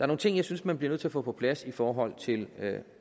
nogle ting jeg synes man bliver nødt til at få på plads i forhold til